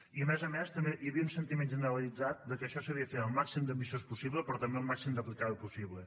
i a més a més també hi havia un sentiment generalitzat de que això s’havia de fer al màxim d’ambiciós possible però també al màxim d’aplicable possible